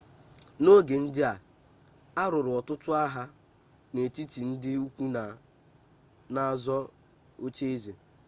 n'oge ndị a a lụrụ ọtụtụ agha n'etiti ndi ukwu na-azọ oche eze